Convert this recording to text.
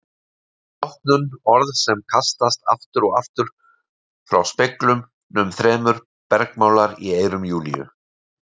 Rotnun, orð sem kastast aftur og aftur frá speglunum þrem, bergmálar í eyrum Júlíu.